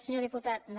senyor diputat no no